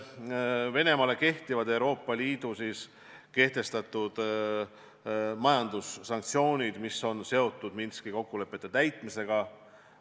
Venemaa suhtes kehtivad Euroopa Liidu kehtestatud majandussanktsioonid, mis on seotud Minski kokkulepete täitmisega.